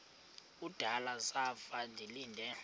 kudala zafa ndilinde